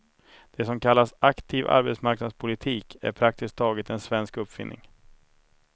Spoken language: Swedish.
Det som kallas aktiv arbetsmarknadspolitik är praktiskt taget en svensk uppfinning.